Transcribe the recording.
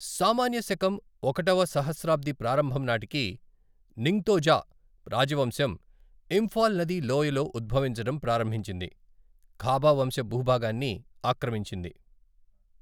సామాన్య శకం ఒకటవ సహస్రాబ్ది ప్రారంభం నాటికి నింగ్తోజా రాజవంశం ఇంఫాల్ నదీ లోయలో ఉద్భవించడం ప్రారంభించింది, ఖాబా వంశ భూభాగాన్ని ఆక్రమించింది.